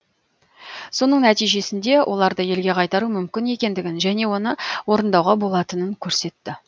соның нәтижесінде оларды елге қайтару мүмкін екендігін және оны орындауға болатынын көрсетті